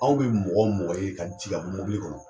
Anw bɛ mɔgɔ o mɔgɔ ye, ka jigin ka bɔ mɔbili kɔnɔ